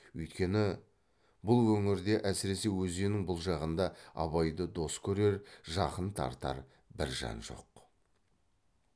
үйткені бұл өңірде әсіресе өзеннің бұл жағында абайды дос көрер жақын тартар бір жан жоқ